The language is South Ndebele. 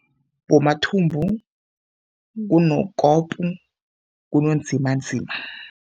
BoMathumbu kunoKopu, kunoNzimanzima.